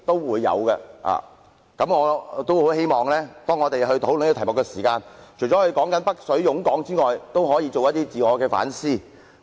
所以，我希望當我們討論這題目時，除了討論"北水湧港"外，也可以進行一些自我反思。